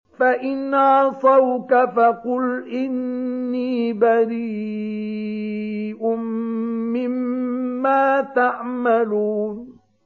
فَإِنْ عَصَوْكَ فَقُلْ إِنِّي بَرِيءٌ مِّمَّا تَعْمَلُونَ